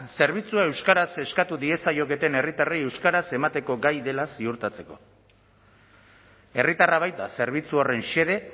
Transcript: zerbitzua euskaraz eskatu diezaioketen herritarrei euskaraz emateko gai dela ziurtatzeko herritarra baita zerbitzu horren xede